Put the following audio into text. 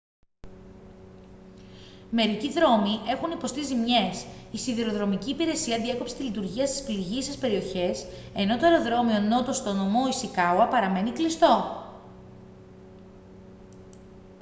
μερικοί δρόμοι έχουν υποστεί ζημιές η σιδηροδρομική υπηρεσία διέκοψε τη λειτουργία στις πληγείσες περιοχές ,ενώ το αεροδρόμιο νότο στο νομό ισικάουα παραμένει κλειστό